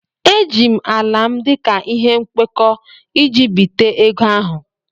Eji m ala m dị ka ihe nkwekọ iji bité ego ahụ.